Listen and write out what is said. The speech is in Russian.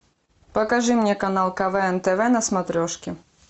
покажи мне канал квн тв на смотрешке